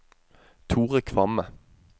Thore Kvamme